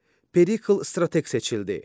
Perikl strateq seçildi.